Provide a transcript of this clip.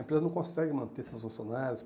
A empresa não consegue manter seus funcionários.